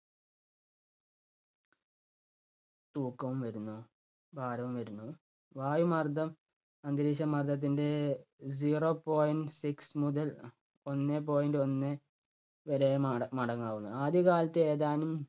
തൂക്കവും വരുന്നു, ഭാരവും വരുന്നു. വായുമർദ്ദം അന്തരീക്ഷ മർദ്ദത്തിൻ്റെ zero point six മുതൽ ഒന്നേ point ഒന്ന് വരെയും അട~അടങ്ങാവുന്നതാണ്. ആദ്യകാലത്തെ ഏതാനും